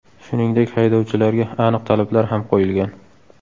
Shuningdek, haydovchilarga aniq talablar ham qo‘yilgan.